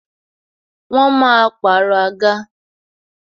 Wọn máa pàrọ̀ àga.